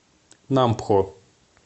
нампхо